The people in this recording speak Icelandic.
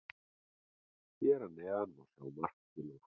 Hér að neðan má sjá mark Gylfa.